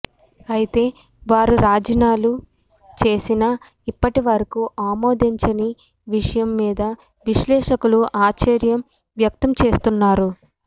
అయితే వారు రాజీనాలు చేసినా ఇప్పటి వరకు ఆమోదించని విషయం మీద విశ్లేషకులు ఆశ్చర్యం వ్యక్తం చేస్తున్నారు